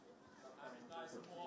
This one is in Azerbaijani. Yəni əksəriyyət heç oynamır.